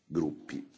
dei gruppi.